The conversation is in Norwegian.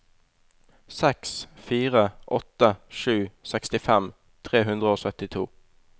seks fire åtte sju sekstifem tre hundre og syttito